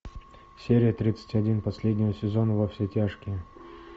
серия тридцать один последнего сезона во все тяжкие